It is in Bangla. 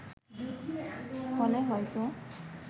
ফলে হয়ত